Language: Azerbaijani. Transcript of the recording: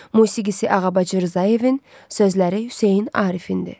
Musiqisi Ağabacı Rzayevanın, sözləri Hüseyn Arifindir.